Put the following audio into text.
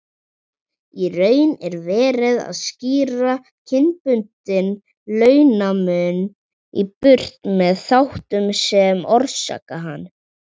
Í raun er verið að skýra kynbundinn launamun í burtu með þáttum sem orsaka hann.